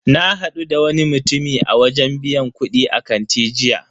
Na hadu da wani mutumi a wajen biyan kudi a kanti jiya.